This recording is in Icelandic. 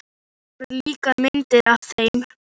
Það voru líka myndir af þeim.